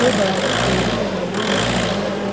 और बड़ा सा पेड़ भी लगा हुआ नजर आ रहा--